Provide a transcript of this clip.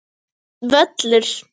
Fínn völlur.